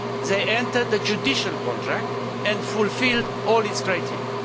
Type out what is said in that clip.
They entered the judicial contract and fulfilled all its criteria.